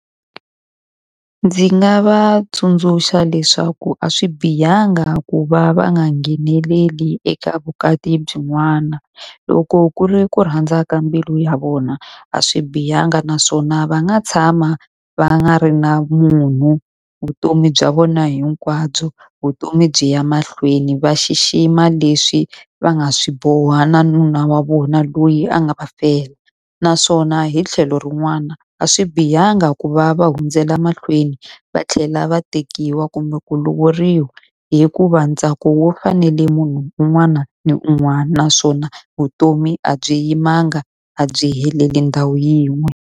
Ndzi nga va tsundzuxa leswaku a swi bihanga ku va va nga ngheneleli eka vukati byin'wana, loko ku ri ku rhandza ka mbilu ya vona a swi bihanga naswona va nga tshama va nga ri na munhu vutomi bya vona hinkwabyo. Vutomi byi ya mahlweni, va xixima leswi va nga swi boha na nuna wa vona loyi a nga va fela. Naswona hi tlhelo rin'wana, a swi bihanga ku va va hundzela mahlweni va tlhela va tekiwa kumbe ku lovoriwa. Hikuva ntsako wu fanele munhu un'wana ni un'wana, naswona vutomi a byi yimanga a byi heleli ndhawu yin'we.